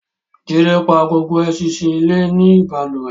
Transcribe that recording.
Jídé pa gbogbo ẹṣinṣin ilé ní balùwẹ̀